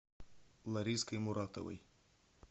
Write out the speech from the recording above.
лариской муратовой